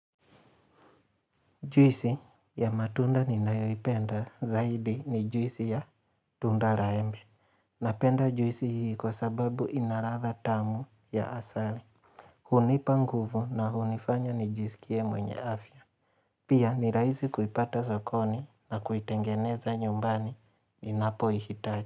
Juisi ya matunda ninayoipenda zaidi ni juisi ya tunda la embe. Napenda juisi hii kwa sababu inaladha tamu ya asali. Hunipa nguvu na hunifanya nijisikie mwenye afya. Pia nirahisi kuipata sokoni na kuitengeneza nyumbani ninapo ihitaji.